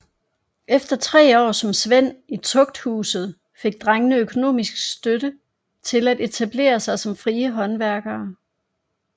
Efter tre år som svend i tugthuset fik drengene økonomisk støtte til at etablere sig som frie håndværkere